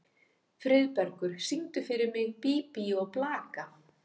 Friðbergur, syngdu fyrir mig „Bí bí og blaka“.